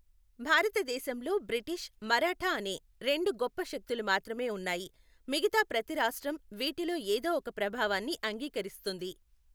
భారతదేశంలో బ్రిటిష్, మరాఠా అనే రెండు గొప్ప శక్తులు మాత్రమే ఉన్నాయి, మిగతా ప్రతి రాష్ట్రం వీటిలో ఏదో ఒక ప్రభావాన్ని అంగీకరిస్తుంది.